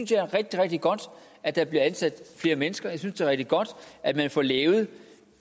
det er rigtig rigtig godt at der bliver ansat flere mennesker jeg synes det er rigtig godt at man får lavet